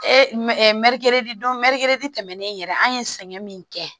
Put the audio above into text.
don tɛmɛnnen yɛrɛ an ye sɛgɛn min kɛ